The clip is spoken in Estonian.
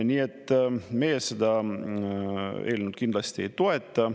Nii et meie seda eelnõu kindlasti ei toeta.